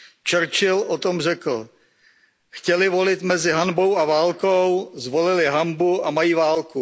Churchill o tom řekl Chtěli volit mezi hanbou a válkou, zvolili hanbu a mají válku.